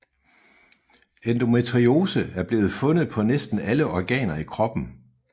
Endometriose er blevet fundet på næsten alle organer i kroppen